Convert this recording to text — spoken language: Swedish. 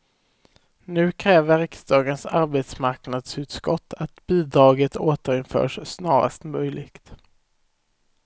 Nu kräver riksdagens arbetsmarknadsutskott att bidraget återinförs snarast möjligt.